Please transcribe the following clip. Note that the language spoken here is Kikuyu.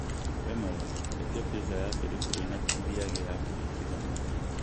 wĩ mwega etia pizza ya biribiri na cheese ya kũringithania